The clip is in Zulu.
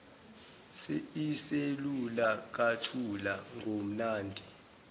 iselula kathula ngomnandi